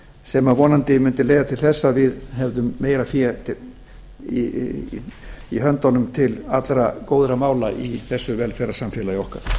sem vonandi mundi leiða til þess að við hefðum meira fé í höndunum til allra góðra mála í þessu velferðarsamfélagi okkar